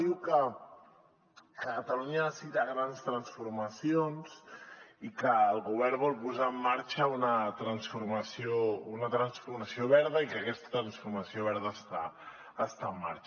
diu que catalunya necessita grans transformacions i que el govern vol posar en marxa una transformació verda i que aquesta transformació verda està en marxa